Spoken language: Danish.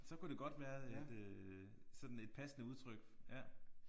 Så kunne det godt være et øh sådan et passende udtryk ja